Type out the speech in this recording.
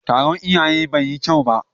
Taron iyayen bai yi kyau ba.